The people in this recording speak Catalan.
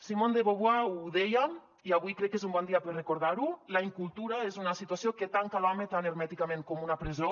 simone de beauvoir ho deia i avui crec que és un bon dia per recordar ho la incultura és una situació que tanca l’home tan hermèticament com una presó